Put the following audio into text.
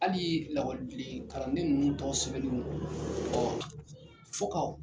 Halii lakɔlidlen karanden ninnu tɔgɔ sɛbɛlen do fo ka o